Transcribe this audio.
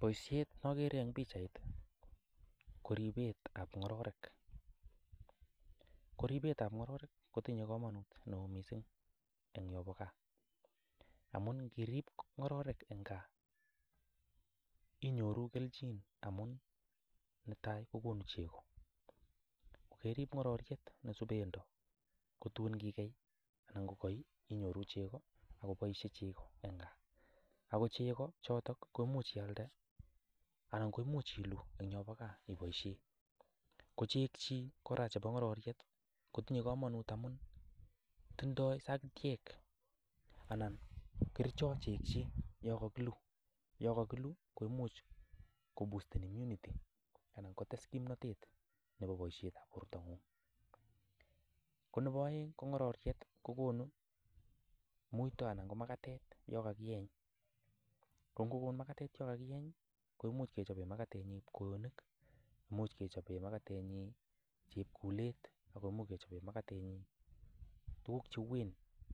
Boisiet nogeere eng pichait ko riipetab ngororek, ko riipetab ngororek kotinye kamanut mising eng yon bo gaa amun ngiriip ngororek eng gaa inyoru kelchin amun netai, kokonu chego, ko keriip ngororiet ne subendo kotuun ngikei ako ngaii inyoru chego ako poishe chego eng gaa ako chego choto komuch ialde anan komuch iluu eng yo bo gaa ipoishe ako chegchi kora chebo ngororeit kotinye kamanut amun tindoi sagitiek anan kerichot chegchi yon kakiluu komuch kobusten immunity anan kotes kimnotet nebo boishetab bortongung. Ko nebo aeng ko ngororiet kokonu muito anan ko makatet yon kakieny, ko ngokon mutyo anan makatet yon kakieny komuch kechope makatenyin kwoyonik, much kechope makatenyin chepkulet ako much kechope tuguk che uuen